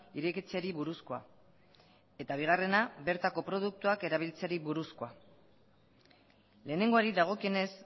irekitzeari buruzkoa eta bigarrena bertako produktuak erabiltzeri buruzkoa lehenengoari dagokienez